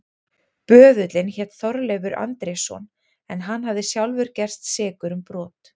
Böðullinn hét Þorleifur Andrésson en hann hafði sjálfur gerst sekur um brot.